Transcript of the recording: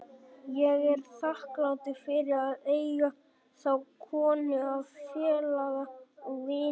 Ég er þakklátur fyrir að eiga þá konu að félaga og vini.